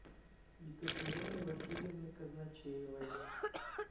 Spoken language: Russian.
екатерины васильевны казначеевой